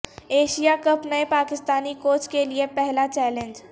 Asia cup نئے Pakistani coach کے لیے پہلا چیلنج